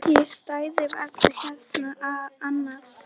Ég stæði varla hérna annars.